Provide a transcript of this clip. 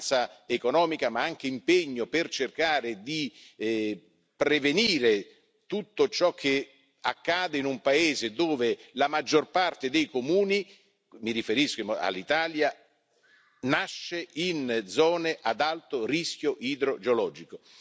Vicinanza economica ma anche impegno per cercare di prevenire tutto ciò che accade in un paese dove la maggior parte dei comuni mi riferisco all'Italia nasce in zone ad alto rischio idrogeologico.